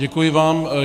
Děkuji vám.